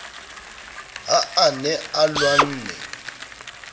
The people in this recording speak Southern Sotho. ha a ne a lwanne